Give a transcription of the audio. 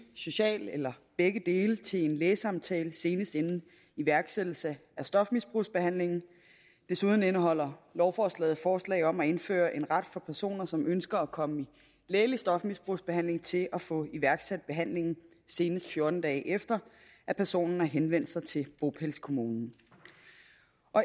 socialt eller begge dele til en lægesamtale senest inden iværksættelse af stofmisbrugsbehandlingen desuden indeholder lovforslaget forslag om at indføre en ret for personer som ønsker at komme i lægelig stofmisbrugsbehandling til at få iværksat behandlingen senest fjorten dage efter at personen har henvendt sig til bopælskommunen